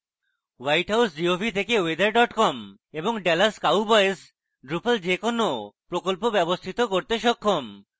whitehouse gov থেকে weather com এবং dallas cowboys drupal যে কোনো প্রকল্প ব্যবস্থিত করতে সক্ষম